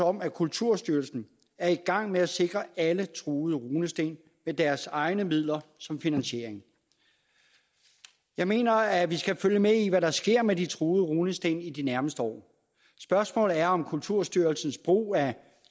om at kulturstyrelsen er i gang med at sikre alle truede runesten med deres egne midler som finansiering jeg mener at vi skal følge med i hvad der sker med de truede runesten i de nærmeste år spørgsmålet er om kulturstyrelsens brug af